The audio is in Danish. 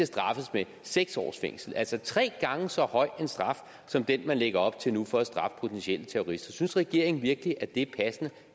straffes med seks års fængsel altså tre gange så høj en straf som den man lægger op til nu for at straffe potentielle terrorister synes regeringen virkelig at det